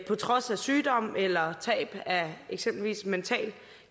på trods af sygdom eller tab af eksempelvis mental